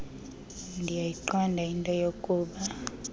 ndiyayiqonda into yokuba